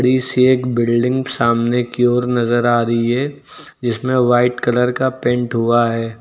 इस एक बिल्डिंग सामने की ओर नजर आ रही है जिसमें वाइट कलर का पेंट हुआ है।